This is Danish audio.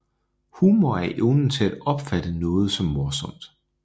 Humor er evnen til at opfatte noget som morsomt